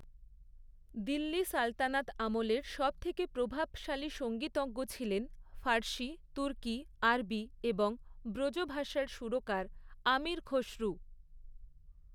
দিল্লি সালতানাত আমলের সবথেকে প্রভাবশালী সঙ্গীতজ্ঞ ছিলেন ফার্সি, তুর্কি, আরবি এবং ব্রজভাষার সুরকার আমির খসরু।